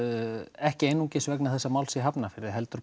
ekki einungis vegna þessa máls í Hafnarfirði heldur